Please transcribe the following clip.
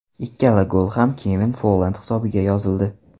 Ikkala gol ham Kevin Folland hisobiga yozildi.